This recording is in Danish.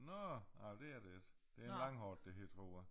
Nå ej det er det ikke. Det en langhåret det hedder tror jeg